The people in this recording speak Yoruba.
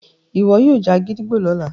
iwọ yoo já gídígbò lọla